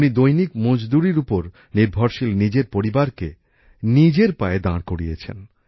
উনি দৈনিক মজদুরির উপর নির্ভরশীল নিজের পরিবারকে নিজের পায়ে দাঁড় করিয়েছেন